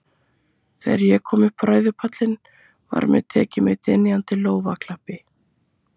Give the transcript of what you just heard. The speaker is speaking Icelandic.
Þegar ég kom upp á ræðupallinn, var mér tekið með dynjandi lófaklappi.